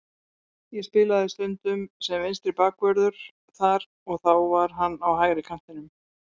Ég spilaði stundum sem vinstri bakvörður þar og þá var hann á hægri kantinum.